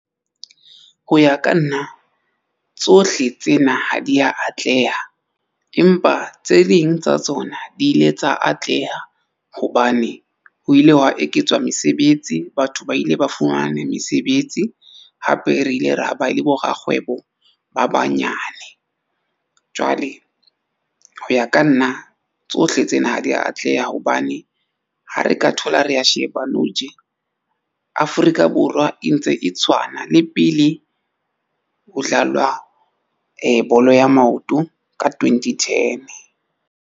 Ho ya ka nna tsohle tsena ha di ya atleha, empa tse ding tsa tsona di ile tsa atleha hobane ho ile hwa eketswa mesebetsi, batho ba ile ba fumane mesebetsi hape re ile ra ba le bo rakgwebo ba banyane. Jwale ho ya ka nna tsohle tsena ha di ya atleha hobane ha re ka thola re sheba nou tje Afrika Borwa e ntse e tshwana le pele ho dlalwa bolo ya maoto ka twenty ten.